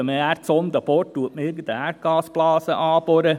Wenn man mit einer Erdsonde bohrt, bohrt man oft irgendeine Erdgasblase an.